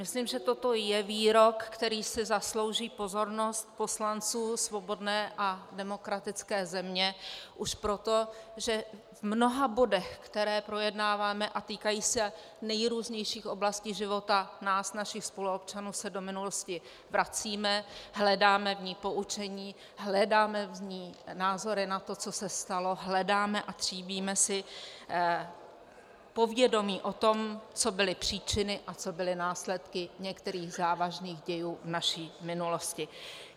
Myslím, že toto je výrok, který si zaslouží pozornost poslanců svobodné a demokratické země, už proto, že v mnoha bodech, které projednáváme a týkají se nejrůznějších oblastí života nás, našich spoluobčanů, se do minulostí vracíme, hledáme v ní poučení, hledáme v ní názory na to, co se stalo, hledáme a tříbíme si povědomí o tom, co byly příčiny a co byly následky některých závažných dějů v naší minulosti.